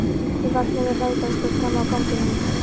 Ég vaknaði við hlátrasköll frammi á ganginum.